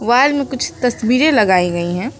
Wall में कुछ तस्वीरें लगाई गई है।